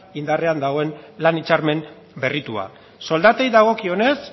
indarrean dagoen lan hitzarmen berritua soldatei dagokionez